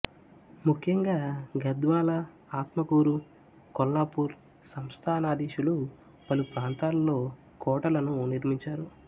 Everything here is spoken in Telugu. ముఖ్యంగా గద్వాల ఆత్మకూరు కొల్లాపూర్ సంస్థానాధీశులు పలుప్రాంతాలలో కోటలను నిర్మించారు